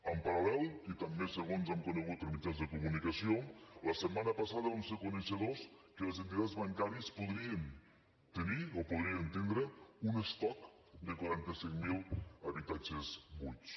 en paral·lel i també segons hem conegut per mitjans de comunicació la setmana passada vam ser coneixedors que les entitats bancàries podrien tenir un estoc de quaranta cinc mil habitatges buits